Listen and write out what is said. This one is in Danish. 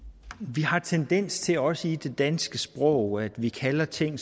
vi har tendens til også i det danske sprog at vi kalder ting